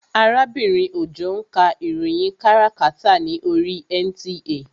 Arábìnrin Òjó ń ka ìròyìn káràkátà ní oríi NTA